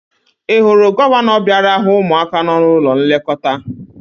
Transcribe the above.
Ị hụrụ gọvanọ bịara hụ ụmụaka nọ n'ụlọ nlekọta?